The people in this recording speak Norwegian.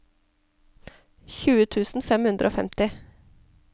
tjue tusen fem hundre og femti